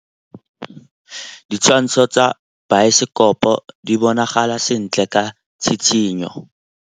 Ditshwantshô tsa biosekopo di bonagala sentle ka tshitshinyô.